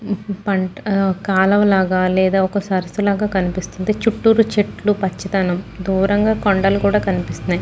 కాలవ లాగా లేదా ఒక సరస్సు లాగా కనిపిస్తుంది. చుట్టూరు చెట్లు పచ్చదనం దూరంగా కొండలు కూడా కనిపిసిస్తున్నయ్.